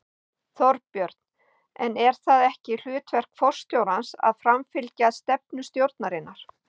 Þorbjörn: En er það ekki hlutverk forstjórans að framfylgja stefnu stjórnarinnar?